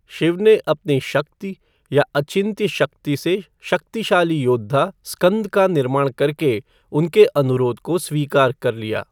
शिव ने अपनी शक्ति या अचिन्त्य शक्ति से शक्तिशाली योद्धा, स्कंद का निर्माण करके उनके अनुरोध को स्वीकार कर लिया।